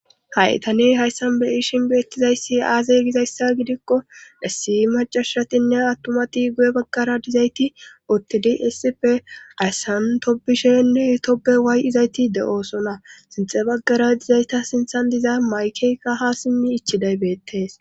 Ha7i tane hayssan be78ishin beettizayssi aazey gizayssa gidikko dhessi macashatinne attumati goye baggara dizayti oottidi essipe aysantobishenne toppe waay7izayti de7oosona sintxe baggara dizayta sinthan diza maykeyka ha simmi ichiday beettees.